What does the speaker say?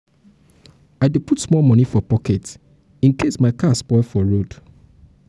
i dey put small moni for pocket incase my car spoil for road.